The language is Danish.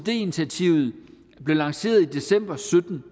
initiativet blev lanceret i december to tusind